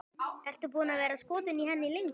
Ertu búinn að vera skotinn í henni lengi?